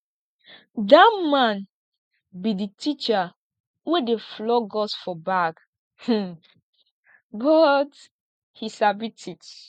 dat man be the teacher wey dey flog us for back um but he sabi teach